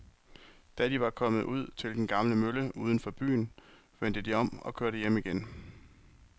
Da de var kommet ud til den gamle mølle uden for byen, vendte de om og kørte hjem igen.